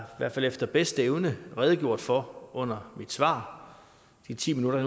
jeg efter bedste evne har redegjort for under mit svar i de ti minutter